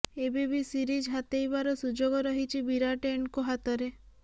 ଏବେ ବି ସିରିଜ ହାତେଇବାର ସୁଯୋଗ ରହିଛି ବିରାଟ ଏଣ୍ଡ କୋ ହାତରେ